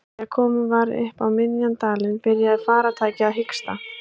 Þegar komið var upp á miðjan dalinn byrjaði farartækið að hiksta.